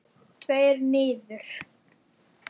Allra síst ég!